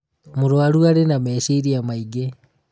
mũrũaru arĩ na meciria maingĩ